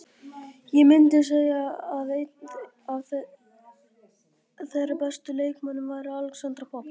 Ég myndi segja að einn af þeirra bestu leikmönnum væri Alexandra Popp.